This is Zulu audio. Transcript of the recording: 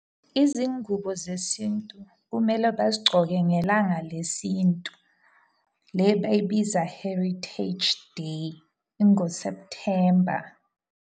Izingubo zesintu kumele bazigcoke ngelanga lesintu. Le bayibiza Heritage Day, ingoSephuthemba.